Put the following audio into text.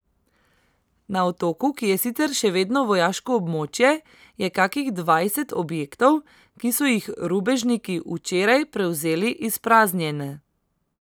Na otoku, ki je sicer še vedno vojaško območje, je kakih dvajset objektov, ki so jih rubežniki včeraj prevzeli izpraznjene.